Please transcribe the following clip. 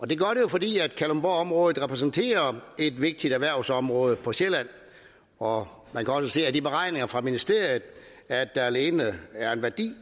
det jo fordi kalundborgområdet repræsenterer et vigtigt erhvervsområde på sjælland og man kan også se af de beregninger fra ministeriet at der alene er en værdi